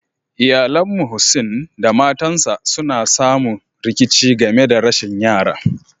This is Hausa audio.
Iyallen Muhseen da matan sa suna samu rikici game da rashin yara.